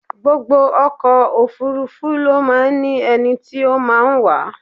Gbogbo ọkọ̀ òfúrúfú ló máa ń ní ẹni tí o máa ń wà á.